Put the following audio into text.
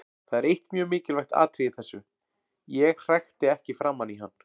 Það er eitt mjög mikilvægt atriði í þessu: Ég hrækti ekki framan í hann.